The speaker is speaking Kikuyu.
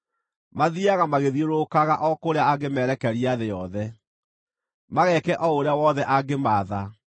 Mathiiaga magĩthiũrũrũkaga o kũrĩa angĩmeerekeria thĩ yothe, mageeke o ũrĩa wothe angĩmaatha.